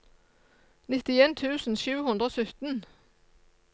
nittien tusen sju hundre og sytten